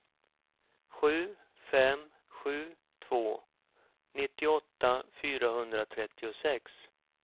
sju fem sju två nittioåtta fyrahundratrettiosex